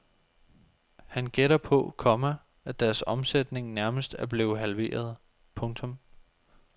Han gætter på, komma at deres omsætning nærmest er blevet halveret. punktum